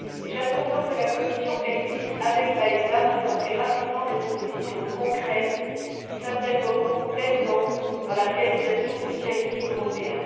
J'attends donc de la Commission qu'elle puisse, avec l'AESA, présenter rapidement des propositions concrètes qui s'intégreront pleinement dans la réalisation du ciel unique européen.